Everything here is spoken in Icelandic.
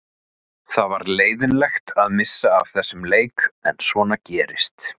Það var leiðinlegt að missa af þessum leik en svona gerist.